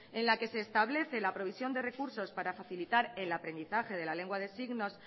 en la que se establece la provisión de recursos para facilitar el aprendizaje de la lengua de signos